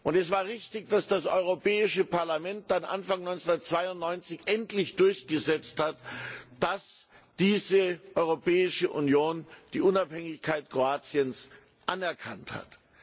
Und es war richtig, dass das Europäische Parlament dann Anfang 1992 endlich durchgesetzt hat, dass diese Europäische Union die Unabhängigkeit Kroatiens anerkannt hat.